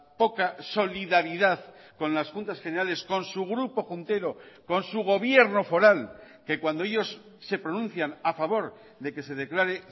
poca solidaridad con las juntas generales con su grupo juntero con su gobierno foral que cuando ellos se pronuncian a favor de que se declare